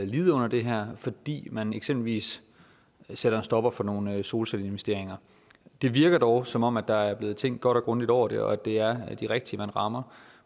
lide under det her fordi man eksempelvis sætter en stopper for nogle solcelleinvesteringer det virker dog som om der er blevet tænkt godt og grundigt over det og at det er de rigtige man rammer